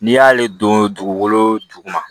N'i y'ale don dugukolo ju ma